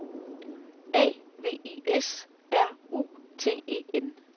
A V I S R U T E N